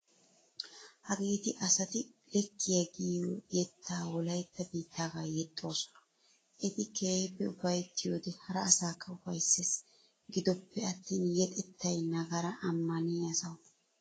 Hageeti asati leekkiya giyo yeetta wolaytta biittagaa yexxoosona, eti keehippe ufayttiyode hara asaakka ufayssees, giddoppe attin yedettay nagara ammanniya sawu.